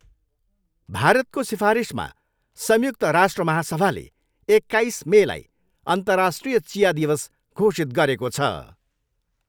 भारतको सिफारिसमा संयुक्त राष्ट्र महासभाले एक्काइस मेलाई अन्तर्राष्ट्रिय चिया दिवस घोषित गरेको छ।